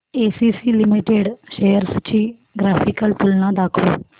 ACC limited shares ची graphical तुलना दाखव